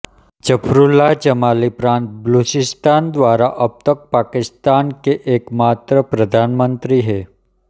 ज़फ़रुल्लाह जमाली प्रांत बलूचिस्तान द्वारा अब तक पाकिस्तान के एकमात्र प्रधानमंत्री हैं